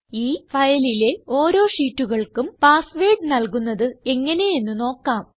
ഈ ഫയലിലെ ഓരോ ഷീറ്റുകൾക്കും പാസ്സ് വേർഡ് നല്കുന്നത് എങ്ങനെ എന്ന് നോക്കാം